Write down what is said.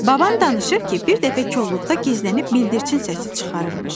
Babam danışır ki, bir dəfə kolluqda gizlənib bildirçin səsi çıxarırmış.